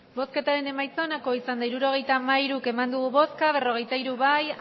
emandako botoak hirurogeita hamairu bai berrogeita hiru ez